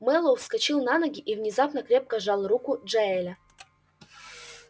мэллоу вскочил на ноги и внезапно крепко сжал руку джаэля